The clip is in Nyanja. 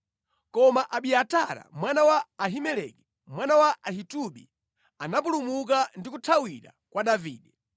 Koma Abiatara mwana wa Ahimeleki mwana wa Ahitubi anapulumuka ndi kuthawira kwa Davide.